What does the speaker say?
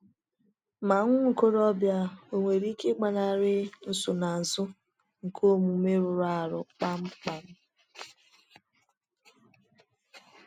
Mà nwa okorobịa onwere ike ịgbanarị nsonaazụ nke omume rụrụ arụ kpamkpam?